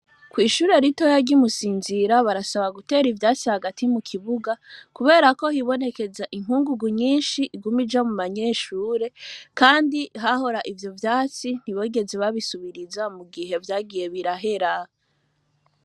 Kw'ishure rito yarya imusinzira barasaba gutera ivyatsi hagati mu kibuga, kubera ko hibonekeza inkungugu nyinshi igumi ja mu banyeshure, kandi hahora ivyo vyatsi ntibogeze babisubiriza mu gihe vyagiye birahera.